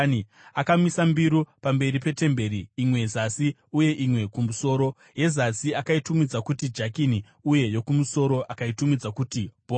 Akamisa mbiru pamberi petemberi, imwe zasi uye imwe kumusoro. Yezasi akaitumidza kuti Jakini uye yokumusoro akaitumidza kuti Bhoazi.